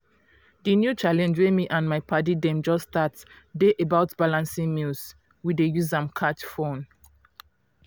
di new challenge wey me and my padi dem just start dey about balancing meals. we dey use am catch fun.